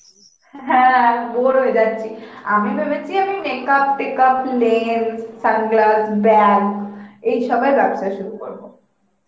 হ্যাঁ আমি bore হয়ে যাচ্ছি, আমি ভেবেছি আমি makeup take up, lens, sunglass, bag এই সবের ব্যবসা শুরু করবো